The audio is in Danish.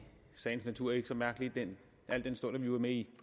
sagens natur ikke så mærkeligt al den stund vi var med i